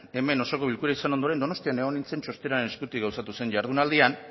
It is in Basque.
hemen osoko bilkura izan ondoren donostian egon nintzen txostenaren eskutik gauzatu zen jardunaldian